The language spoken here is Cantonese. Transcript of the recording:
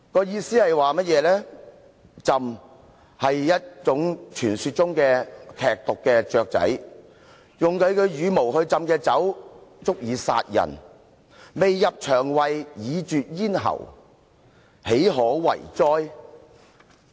"意思是，鴆是傳說中身具劇毒的雀鳥，用牠的羽毛浸泡的酒，足以殺人，未入腸胃，已絕咽喉，豈可為哉！